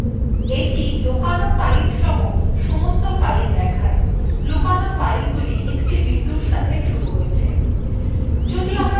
এটি লোকানো filesসহ সমস্ত files দেখায় লোকানো filesগুলি একটি বিন্দুর সাথে শুরু হয়েছে